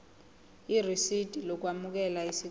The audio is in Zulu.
irisidi lokwamukela isicelo